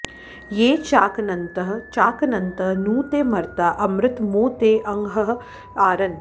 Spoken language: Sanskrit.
ये चा॒कन॑न्त चा॒कन॑न्त॒ नू ते मर्ता॑ अमृत॒ मो ते अंह॒ आर॑न्